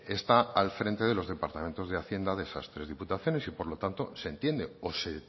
está al frente de los departamentos de hacienda de esas tres diputaciones y por lo tanto se entiende o se